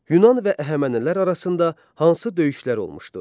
Yunan və Əhəmənilər arasında hansı döyüşlər olmuşdu?